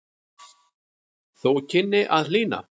Þó kynni að hlýna.